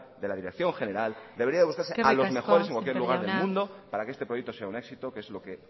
de la dirección general eskerrik asko sémper jauna debería buscarse a los mejores en cualquier lugar del mundo para que este proyecto sea un éxito que es lo que